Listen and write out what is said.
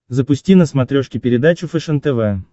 запусти на смотрешке передачу фэшен тв